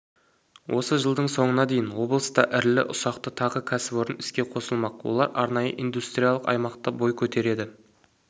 осы жылдың соңына дейін облыста ірілі-ұсақты тағы кәсіпорын іске қосылмақ олар арнайы индустриалық аймақта бой көтереді